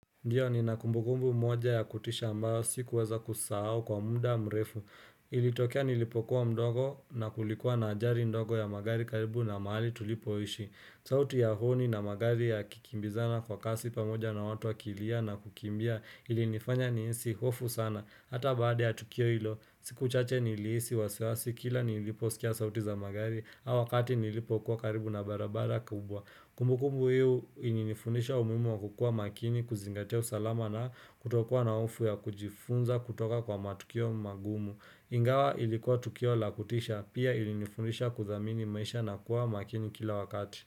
Ndiyo ninakumbukumbu moja ya kutisha ambao sikuweza kusahao kwa muda mrefu. Ilitokea nilipokuwa mdogo na kulikuwa na ajali ndogo ya magari karibu na mahali tulipoishi. Sauti ya honi na magari yakikimbizana kwa kasi pamoja na watu wakilia na kukimbia ilinifanya nihisi hofu sana. Hata baada ya tukio hilo, siku chache nilihisi wasiwasi kila niliposikia sauti za magari au wakati nilipokuwa karibu na barabara kubwa. Kumbu kumbu huyu ilinifundisha umuhimu wakukuwa makini kuzingatia usalama na kutokuwa na hofu ya kujifunza kutoka kwa matukio magumu. Ingawa ilikuwa tukio la kutisha pia ilinifundisha kudhamini maisha na kuwa makini kila wakati.